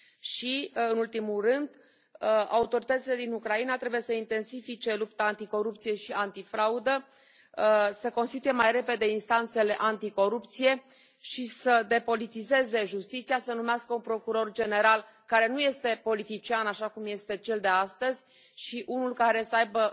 Și, nu în ultimul rând, autoritățile din Ucraina trebuie să intensifice lupta anticorupție și antifraudă, să constituie mai repede instanțele anticorupție și să depolitizeze justiția, să numească un procuror general care nu este politician, așa cum este cel de astăzi, și unul care să aibă